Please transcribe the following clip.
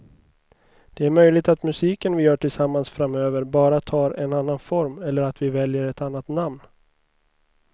Det är möjligt att musiken vi gör tillsammans framöver bara tar en annan form eller att vi väljer ett annat namn.